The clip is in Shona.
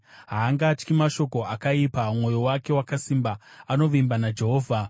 Haangatyi mashoko akaipa; mwoyo wake wakasimba, anovimba naJehovha.